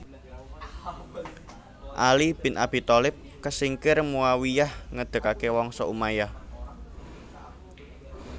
Ali bin Abi Thalib kesingkir Muawiyyah ngedegaké Wangsa Umayyah